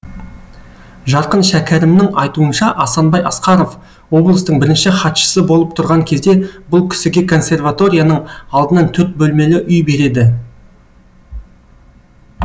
жарқын шәкәрімнің айтуынша асанбай асқаров облыстың бірінші хатшысы болып тұрған кезде бұл кісіге консерваторияның алдынан төрт бөлмелі үй береді